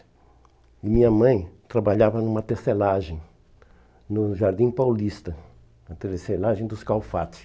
E minha mãe trabalhava numa tecelagem no Jardim Paulista, na tecelagem dos Calfates.